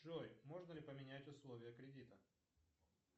джой можно ли поменять условия кредита